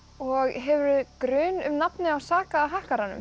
og hefurðu grun um nafnið á